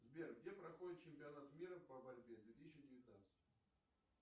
сбер где проходит чемпионат мира по борьбе две тысячи девятнадцать